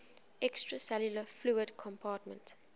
extracellular fluid compartment